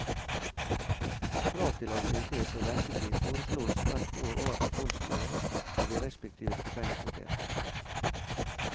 Krav til ansiennitet og ventetid foreslås hvert år overfor fondsstyret av de respektive stipendkomiteer.